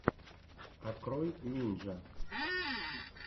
открой нинджя